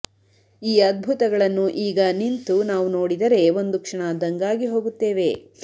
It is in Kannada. ಈ ಅದ್ಭುತಗಳನ್ನು ಈಗ ನಿಂತು ನಾವು ನೋಡಿದರೆ ಒಂದು ಕ್ಷಣ ದಂಗಾಗಿ ಹೋಗುತ್ತೇವೆ